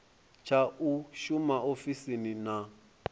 tsha u shuma ofisini na